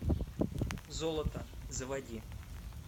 золото заводи